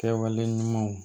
Kɛwale ɲumanw